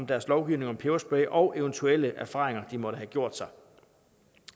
deres lovgivning om peberspray og eventuelle erfaringer de måtte have gjort sig